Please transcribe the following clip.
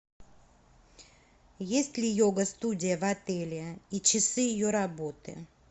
есть ли йога студия в отеле и часы ее работы